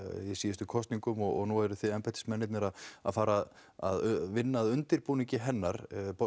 í síðustu kosningum og núna eruð þið embættismennirnir að fara að vinna að undirbúningi hennar